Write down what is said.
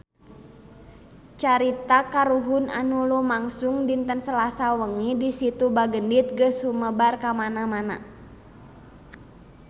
Carita kahuruan anu lumangsung dinten Salasa wengi di Situ Bagendit geus sumebar kamana-mana